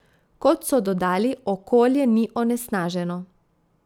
Kot so dodali, okolje ni onesnaženo.